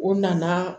O nana